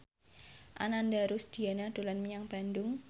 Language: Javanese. Ananda Rusdiana dolan menyang Bandung